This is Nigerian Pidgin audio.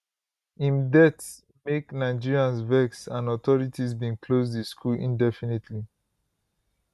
im death make nigerians vex and authorities bin close di school indefinitely